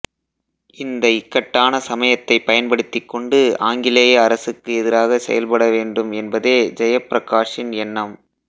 இந்த இக்கட்டான சமயத்தைப் பயன்படுத்திக்கொண்டு ஆங்கிலேய அரசுக்கு எதிராகச் செயல்ப்பட வேண்டும் என்பதே ஜெயப்பிரகாஷின் எண்ணம்